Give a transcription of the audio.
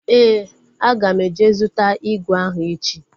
Éè, aga m eje zụta ígwè ahụ echi